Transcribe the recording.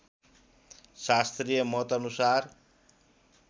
शास्त्रिय मतअनुसार